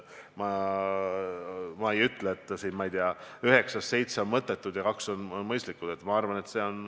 Ma ei ütle siin, ma ei tea, et üheksast seitse on mõttetud ja kaks on mõistlikud.